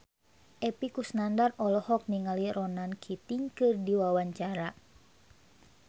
Epy Kusnandar olohok ningali Ronan Keating keur diwawancara